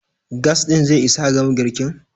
gas ɗin zai Isa a gama girkin?